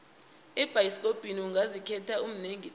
ebhayisikopo ungazikhethela manengi tle